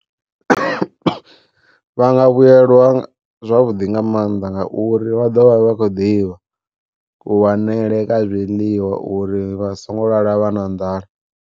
Vha nga vhuyelwa zwavhuḓi nga maanḓa ngauri vha ḓo vha vha khou ḓivha ku wanele kwa zwiḽiwa uri vhasongo lala vha na nḓala.